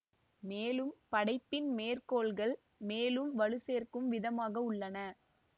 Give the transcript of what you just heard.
மேலும் படைப்பின் மேற்கோள்கள் மேலும் வலு சேர்க்கும் விதமாகவுள்ளன